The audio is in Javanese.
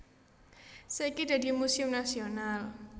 Saiki dadi muséum nasional